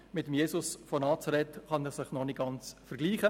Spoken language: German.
Mit Jesus von Nazareth kann er sich noch nicht ganz vergleichen.